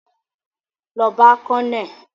Lọ bá colonel!